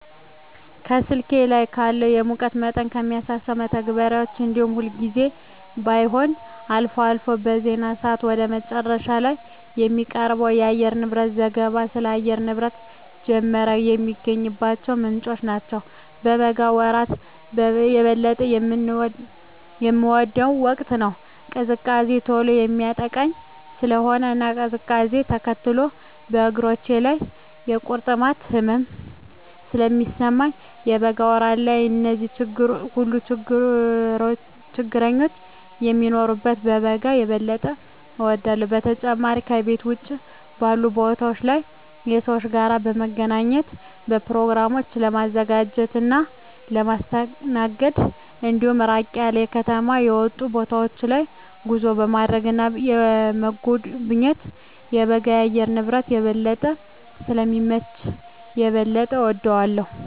ከስልኬ ላይ ካለው የሙቀት መጠንን ከሚያሳሰው መተግበሪያ እንዲሁም ሁልጊዜም ባይሆን አልፎ አልፎ በዜና ሰአት ወደ መጨረሻ ላይ ከሚቀርበው የአየርንብረት ዘገባ ስለ አየር ንብረት ጀመረ የሚገኝባቸው ምንጮች ናቸው። የበጋ ወራት የበለጠ የምወደው ወቅት ነው። ቅዝቃዜ ቶሎ የሚያጠቃኝ ስለሆነ እና ቅዝቃዜውነ ተከትሎ በእግሮቼ ላይ የቁርጥማት ህመም ስለሚሰማኝ የበጋ ወራት ላይ እነዚህ ሁሉ ችግረኞች ስለማይኖሩ በጋን የበጠ እወዳለሁ። በተጨማሪም ከቤት ውጭ ባሉ ቦታወች ላይ ከሰወች ጋር ለመገናኘት፣ በኘሮግራሞችን ለማዘጋጀት እና ለማስተናገድ እንዲሁም ራቅ ያሉ ከከተማ የወጡ ቦታወች ላይ ጉዞ ለማድረግ እና ለመጎብኘት የበጋ የአየር ንብረት የበለጠ ስለሚመች የበለጠ እወደዋለሁ።